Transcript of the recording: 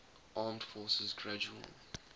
armed forces gradual